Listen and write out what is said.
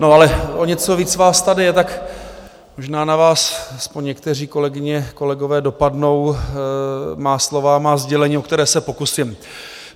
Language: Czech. No, ale o něco víc vás tady je, tak možná na vás, aspoň některé, kolegyně, kolegové, dopadnou má slova, má sdělení, o která se pokusím.